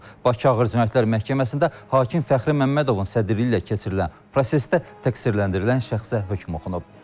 Bakı Ağır Cinayətlər Məhkəməsində hakim Fəxri Məmmədovun sədrliyi ilə keçirilən prosesdə təqsirləndirilən şəxsə hökm oxunub.